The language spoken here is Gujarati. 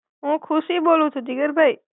હું ખુશી બોલું છું, જીગર ભાઈ.